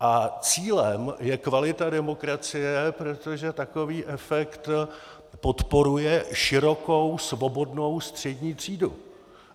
A cílem je kvalita demokracie, protože takový efekt podporuje širokou svobodnou střední třídu.